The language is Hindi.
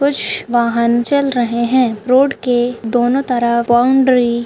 वाहन चल रहे है रोड के दोनों तरफ बाउंड्री --